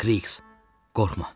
Kriks, qorxma.